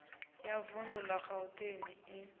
ya vundu la gauteng i